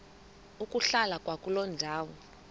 ukuhlala kwakuloo ndawo